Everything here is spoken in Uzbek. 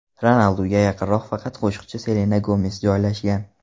Ronalduga yaqinroq faqat qo‘shiqchi Selena Gomes joylashgan.